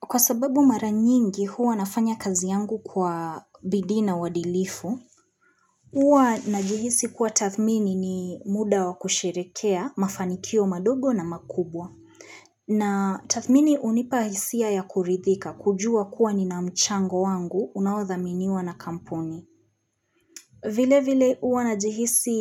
Kwa sababu maranyingi huwa nafanya kazi yangu kwa bidii na uadilifu, huwa najihisi kuwa tathmini ni muda wa kusherehekea, mafanikio madogo na makubwa. Natathmini hunipa hisia ya kuridhika, kujua kuwa nina mchango wangu, unaothaminiwa na kampuni. Vile vile huwa najihisi